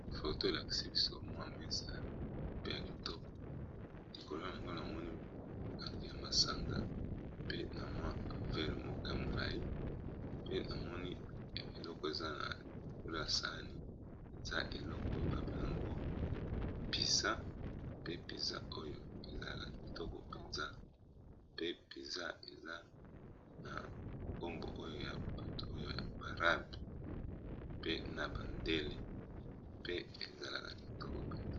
Foto elakisi biso mwa mesa pe ya kitoko likolo na yango na amoni ba milangi ya masanga pe na mwi vere moko ya molai pe namoni eleko eza na likolo ya sani eza eleko oyo babel yango mpiza pe mpiza oyo ezalaka kitoko mpenza pe mpiza eza na nkombo oyo ya bato oyo yaba arabes pe na bandele pe ezalaka kitoko mpenza.